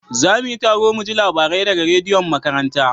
Za mu yi taro muji labarai da ga rediyon makaranta